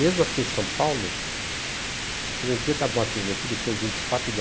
Mesmo aqui em São Paulo, porque no dia da morte do Getúlio, que foi vinte e quatro de